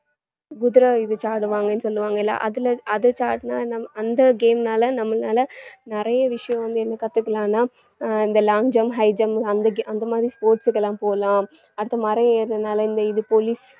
சொல்லுவாங்கல்ல அதுல அது அந்த game னால நம்மனால நிறைய விஷயம் வந்து என்ன கத்துக்கலான்னா அஹ் இந்த long jump, high jump அந்த ga~ அந்த மாதிரி sports க்கு எல்லாம் போலாம், அடுத்து மரம் ஏறுறதனால இந்த இது police